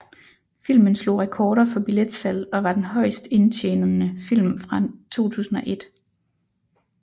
Filmen slog rekorder for billetsalg og var den højest indtjenende film i 2001